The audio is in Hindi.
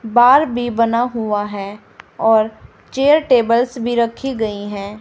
बाल भी बना हुआ है और चेयर टेबल्स भी रखी गई हैं।